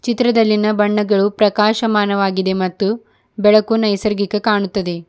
ಚಿತ್ರದಲ್ಲಿನ ಬಣ್ಣಗಳು ಪ್ರಕಾಶಮಾನವಾಗಿದೆ ಮತ್ತು ಬೆಳಕು ನೈಸರ್ಗಿಕ ಕಾಣುತ್ತದೆ.